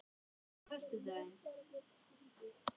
Sessilía, hvaða vikudagur er í dag?